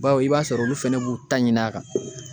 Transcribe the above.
Bawo i b'a sɔrɔ olu fɛnɛ b'u ta ɲini a kan